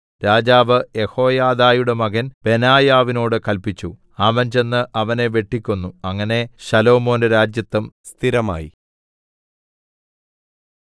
രാജാവ് യെഹോയാദയുടെ മകൻ ബെനായാവിനോട് കല്പിച്ചു അവൻ ചെന്ന് അവനെ വെട്ടിക്കൊന്നു അങ്ങനെ ശലോമോന്റെ രാജത്വം സ്ഥിരമായി